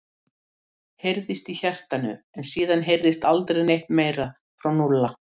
heyrðist í hjartanu en síðan heyrðist aldrei neitt meira frá Núlla.